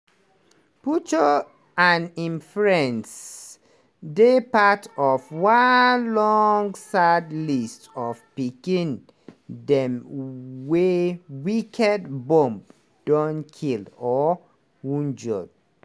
puchu and hin friends dey part of one long sad list of pikin dem wey wicked bomb don kill or wunjure.